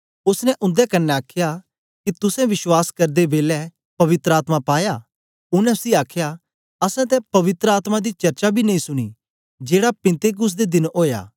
ओसने उन्दे क्न्ने आखया के तुसें विश्वास करदे बेलै पवित्र आत्मा पाया उनै उसी आखया असैं तां पवित्र आत्मा दी चर्चा बी नेई सुनी जेड़ा पिन्तेकुस्त दे दिन ओया